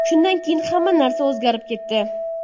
Shundan keyin hamma narsa o‘zgarib ketdi.